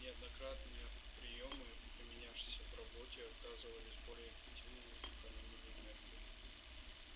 неоднократные приёмы применявшиеся в работе оказывались более эффективными и экономили энергию